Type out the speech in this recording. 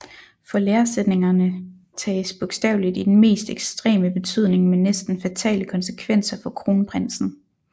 For læresætningerne tages bogstaveligt i den mest ekstreme betydning med næsten fatale konsekvenser for kronprinsen